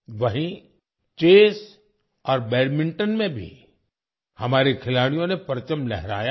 वहीं चेस और बैडमिंटन में भी हमारे खिलाड़ियों ने परचम लहराया है